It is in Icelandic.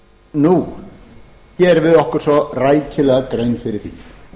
nú gerum við okkur svo rækilega grein fyrir því